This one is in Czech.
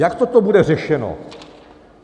Jak toto bude řešeno?